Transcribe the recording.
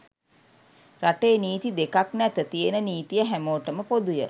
රටේ නීති දෙකක් නැත තියෙන නිතිය හැමෝටම පොදුය.